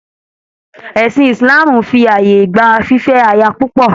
Ẹ̀sìn Ìsìláàmù fì ààyè gba fífẹ́ aya púpọ̀.